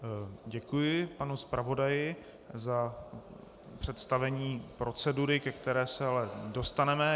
Děkuji panu zpravodaji za představení procedury, ke které se ale dostaneme.